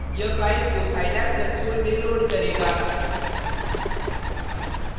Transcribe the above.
यह फाइल को scilab console में लोड करेगा